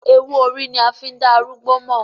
Ewú orí ni a fi ń da arúgbó mọ̀.